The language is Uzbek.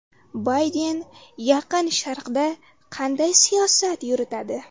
Bayden Yaqin Sharqda qanday siyosat yuritadi?